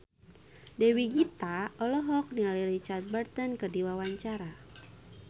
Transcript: Dewi Gita olohok ningali Richard Burton keur diwawancara